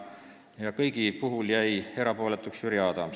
Kõigi ettepanekute puhul jäi erapooletuks Jüri Adams.